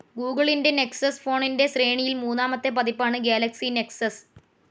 ഗൂഗിളിൻ്റെ നെക്സസ്‌ ഫോണിൻ്റെ ശ്രേണിയിൽ മൂന്നാമത്തെ പതിപ്പാണ് ഗാലക്സി നെക്സസ്.